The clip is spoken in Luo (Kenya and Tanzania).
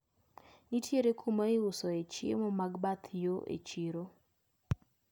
Nitiere kuma iusoe e chiemo mag bath yo e chiro.